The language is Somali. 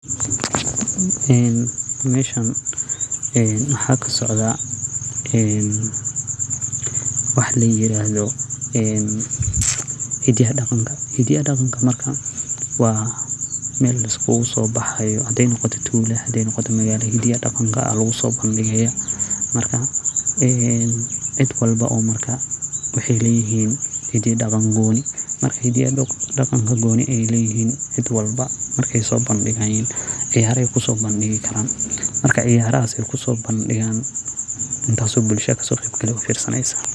En meshan wxa kasocda en, wax layirado hidiya daqanka, hidiaya daqanka marka markawaa Mel liskuso baxayo haday noqota tula, haday noqota magala hidiya daqanka a laguso bandige, marka en cid walbo marka wxay leyini hidi daqan goni hediye marka hidiye daqanka goni ay leyihin cid walba markayso bandigayin ciyara kuso bandikaran ,marka ciyaraha kusobandigan intas o bulda kasoqebyasho firsaneysa.